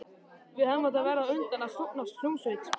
Við hefðum átt að verða á undan að stofna hljómsveit.